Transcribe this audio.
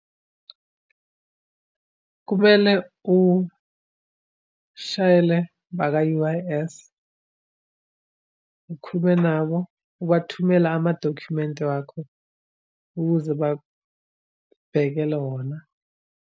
Kumele ushayele abaka-U_I_S, ukhulume nabo, ubathumele amadokhumenti wakho ukuze bakubhekele wona.